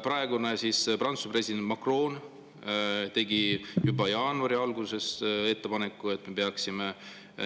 Praegune Prantsuse president Macron tegi juba jaanuari alguses ettepaneku, et me peaksime